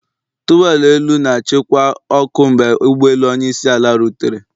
Towerlọ elu na-achịkwa ọkụ mgbe ụgbọelu onye isi ala rutere.